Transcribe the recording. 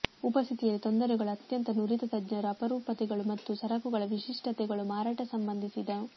ಉಪಸ್ಥಿತಿಯಲ್ಲಿ ತೊಂದರೆಗಳು ಅತ್ಯಂತ ನುರಿತ ತಜ್ಞರು ಅಪರೂಪತೆಗಳು ಮತ್ತು ಸರಕುಗಳ ವಿಶಿಷ್ಟತೆಗಳು ಮಾರಾಟ ಸಂಬಂಧಿಸಿದ